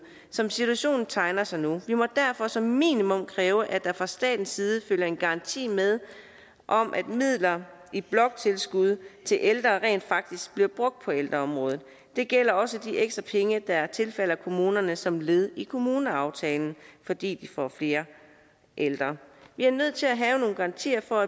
som situationen tegner sig nu vi må derfor som minimum kræve at der fra statens side følger en garanti med om at midler i bloktilskud til ældre rent faktisk bliver brugt på ældreområdet det gælder også de ekstra penge der tilfalder kommunerne som led i kommuneaftalen fordi de får flere ældre vi er nødt til at have nogle garantier for